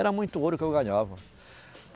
Era muito ouro que eu ganhava.